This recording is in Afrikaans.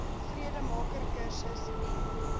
vredemaker kursus n